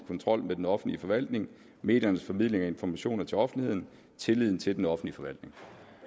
kontrol med den offentlige forvaltning mediernes formidling af informationer til offentligheden tilliden til den offentlige forvaltning